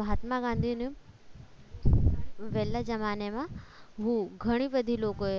મહાત્મા ગાંધીન વેલા જમાનામાં બહુ ઘણી બધી લોકોએ